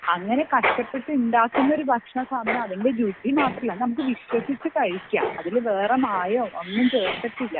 നമ്മൾ കഷ്ടപ്പെട്ട് ഉണ്ടാക്കുന്ന ഭക്ഷണം അതിനു രുചി മാത്രമല്ല അത് വിശ്വസിച്ചിട്ട് കഴിക്കാം അതിൽ വേറെ മായമോ ഒന്നും ചേർത്തിട്ടില്ല